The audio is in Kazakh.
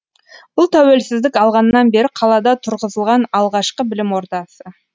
бұл тәуелсіздік алғаннан бері қалада тұрғызылған алғашқы білім ордасы